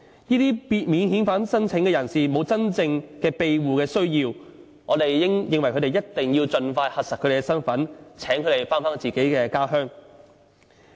由於這些免遣返聲請人士沒有真正庇護需要，所以我們認為一定要盡快核實他們的身份，請他們返回自己的家鄉。